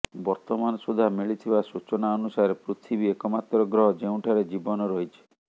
ବର୍ତ୍ତମାନ ସୁଦ୍ଧା ମିଳିଥିବା ସୂଚନା ଅନୁସାରେ ପୃଥିବୀ ଏକ ମାତ୍ର ଗ୍ରହ ଯେଉଁଠାରେ ଜୀବନ ରହିଛି